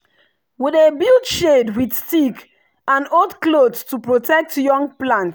we dey build shade with stick and old cloth to protect young plant.